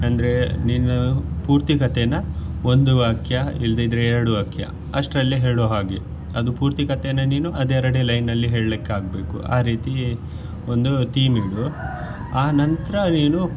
ಅಂದ್ರೆ ನೀನು ಪೂರ್ತಿ ಕಥೆನಾ ಒಂದು ವಾಕ್ಯ ಇಲ್ಲದಿದ್ರೆ ಎರಡು ವಾಕ್ಯ ಅಷ್ಟ್ರಲ್ಲಿ ಹೇಳುವಾಗೆ ಅದು ಪೂರ್ತಿ ಕಥೆನಾ ನೀನು ಅದೆ ಎರಡೆ line ಅಲ್ಲಿ ಹೇಳ್ಲಿಕ್ಕೆ ಆಗ್ಬೇಕು ಆ ರೀತಿ ಒಂದು theme ಇಡು ಆನಂತರಾ ನೀನು.